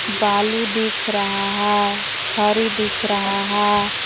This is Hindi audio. बालू दिख रहा है छरि दिख रहा है।